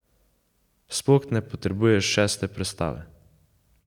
Sploh ne potrebuješ šeste prestave.